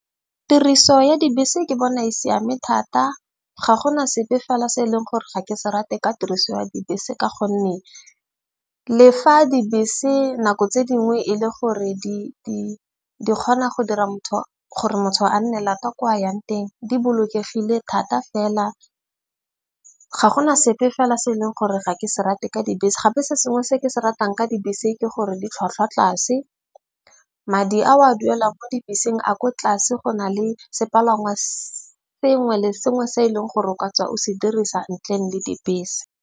Tiriso ya dibese ke bona e siame thata. Ga gona sepe fela se e leng gore ga ke se rate ka tiriso ya dibese. Ka gonne le fa dibese nako tse dingwe e le gore di kgona go dira motho gore motho a nne lata kwa a yang teng. Di bolokegile thata fela ga gona sepe fela se e leng gore ga ke se rate ka dibese. Gape se sengwe se ke se ratang ka dibese ke gore ditlhwatlhwa tlase, madi a o a duelang mo dibeseng a ko tlase, go na le sepalangwa se sengwe le sengwe se e leng gore o ka tswa o se dirisa ntleng le dibese.